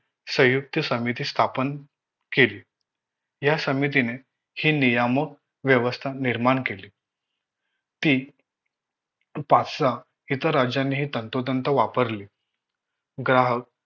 संयुक्त समिती स्थापन केली या समितीने हे नियामक व्यवस्थान निर्माण केले ती पाच सहा इतर राज्यांनीहि तंतोतंत वापरली ग्राहक